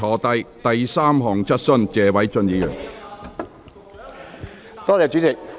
第三項質詢，謝偉俊議員。